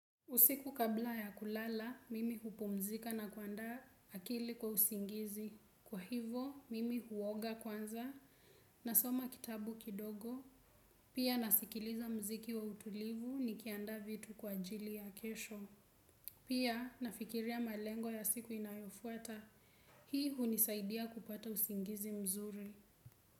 Usiku kabla ya kulala, mimi hupumzika na kuandaa akili kwa usingizi. Kwa hivo, mimi huoga kwanza nasoma kitabu kidogo. Pia nasikiliza muziki wa utulivu nikiandaa vitu kwa ajili ya kesho. Pia nafikiria malengo ya siku inayofuata. Hii hunisaidia kupata usingizi mzuri.